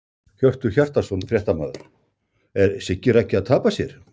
Hjörtur Hjartarson, fréttamaður: Er Siggi Raggi að tapa sér?!